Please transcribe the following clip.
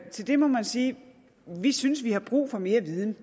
til det må man sige at vi synes vi har brug for mere viden